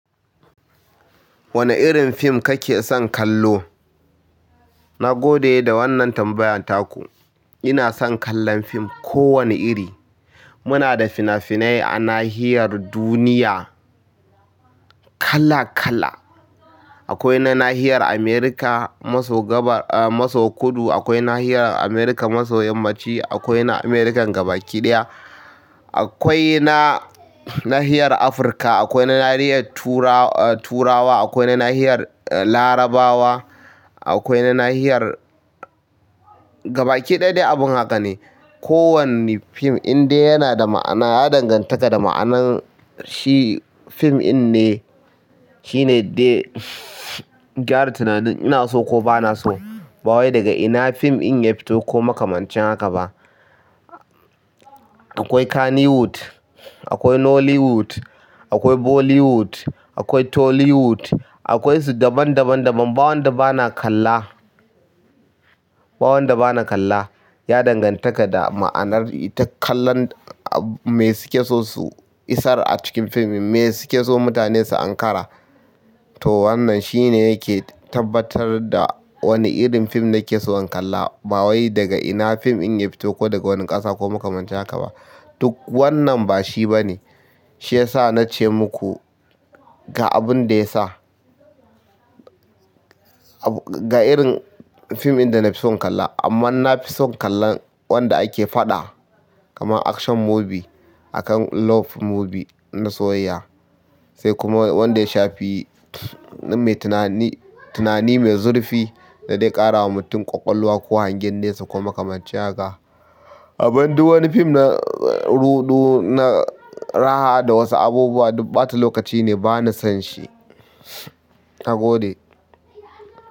Wane irin fim kake son kallo? Nagode da wannan tambayan taku. Ina son kallon film ko wane iri. Muna da fina-finai a nahiyar duniya kala kala. Akwai na nahiyar America maso gabas, ah, maso kudu. Akwai nahiyar America maso yammaci. Akwai na America gabaki ɗaya. Akwai na nahiyar Afirka. Akwai na nahiyar tura, eh turawa. Akwai na nahiyar, eh, Larabawa. Akwai na nahiyar gabaki ɗaya dai abun haka ne. Ko wanne film indai yana da ma'ana, ya danganta da ma'anar shi. Film in ne shine dai gyara tunanin ina so ko bana so, ba wai daga ina film in ya fito ko makamancin haka ba. Akwai Kannywood, akwai Nollywood, akwai Bollywood, akwai Tollywood, akwai su daban daban daban. Ba wanda bana kalla, bawanda bana kalla ya danganta da ma'anar ita kallan me suke so su isar a cikin film. Me suke so mutane su Ankara. To wannan shine yake tabbatar da wane irin film nake so in kalla bawai daga ina film in ya fito ko daga wani ƙasa ko makamancin haka ba. Duk wannan bashi bane. Shi yasa nace muku ga abunda ya sa. Ga irin film in danafi son kalla. Amma nafi son kallon wanda ake faɗa kamar action movie akan love movie na soyayya. Sai kuma wanda ya shafi mai tunani, tunani mai zurfi da dai ƙara wa mutum ƙwaƙwalwa ko hangen nesa ko makamancin haka. Amman duk wani film na rudu, na raha da wasu abubuwa duk ɓata lokaci ne bana son shi. Na gode.